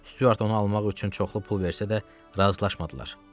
Stuart onu almaq üçün çoxlu pul versə də, razılaşmadılar.